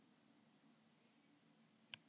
Ég geng að glugganum.